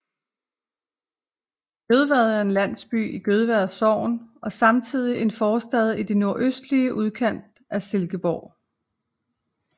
Gødvad er en landsby i Gødvad Sogn og samtidig en forstad i den nordøstlige udkant af Silkeborg